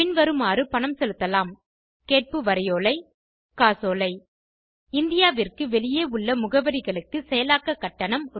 பின்வருமாறு பணம் செலுத்தலாம் கேட்பு வரைவோலை காசோலை இந்தியாவிற்கு வெளியே உள்ள முகவரிகளுக்கு செயலாக்க கட்டணம் ரூ